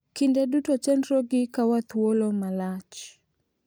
Kinde duto chenrogi kawo thuolo malach.